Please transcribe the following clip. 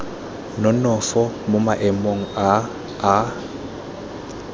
nonofo mo maemong a a